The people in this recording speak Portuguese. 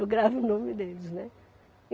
Eu gravo o nome deles, né.